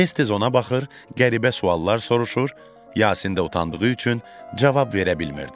Tez-tez ona baxır, qəribə suallar soruşur, Yasin də utandığı üçün cavab verə bilmirdi.